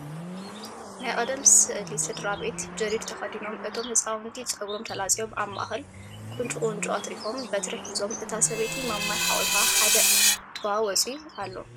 ናይ ቀደም ስእሊ ስድራ ቤት ጀዲድ ተከዲኖም እቶም ህፃውንቲ ፀጉሮም ተላፅዮም ኣብ ማእከል ቁንጩ ቁንጮ ኣትሪፎም በትሪ ሒዞም እታ ሰበይቲ ማማይ ሓቂፋ ሓደ ጥዋ ወፅዩ ኣሎ።